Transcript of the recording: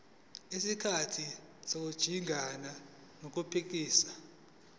ngesikhathi sokujingana nokuphithiza